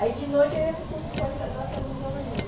Aí de noite eu ia para o curso de pós-graduação de museologia.